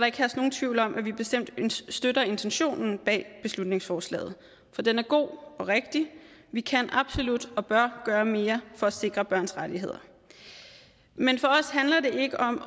ikke herske nogen tvivl om at vi bestemt støtter intentionen bag beslutningsforslaget for den er god og rigtig vi kan absolut og bør gøre mere for at sikre børns rettigheder men